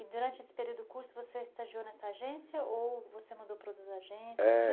E durante esse período do curso você estagiou nessa agência ou você mudou para outra agência? é...